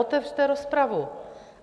Otevřete rozpravu.